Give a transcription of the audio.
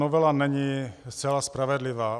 Novela není zcela spravedlivá.